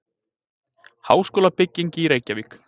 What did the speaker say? Háskólabygging í Reykjavík.